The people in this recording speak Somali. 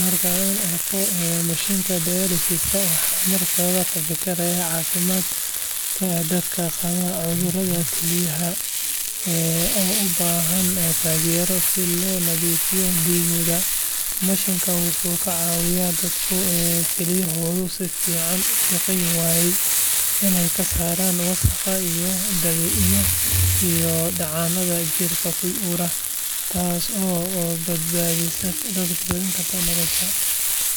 Marka aan arko mashiinka dialysis-ka, waxaan markiiba ka fikiraa caafimaadka dadka qaba cudurrada kelyaha oo u baahan taageero si loo nadiifiyo dhiiggooda. Mashiinkan wuxuu ka caawiyaa dadka kelyahoodu si fiican u shaqayn waayaan inay ka saaraan wasakhda iyo dheecaannada jirka ku urura, taas oo badbaadin karta noloshooda.